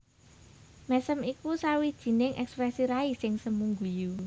Mèsem iku sawijining èksprèsi rai sing semu guyu